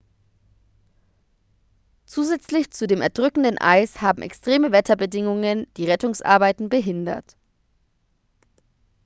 zusätzlich zu dem erdrückenden eis haben extreme wetterbedingungen die rettungsarbeiten behindert